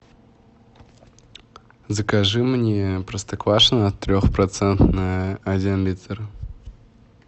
закажи мне простоквашино трехпроцентное один литр